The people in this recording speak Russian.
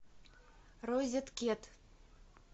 розеткет